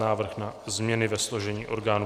Návrh na změny ve složení orgánů